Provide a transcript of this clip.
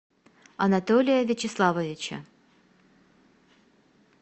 анатолия вячеславовича